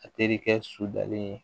A terikɛ su dalen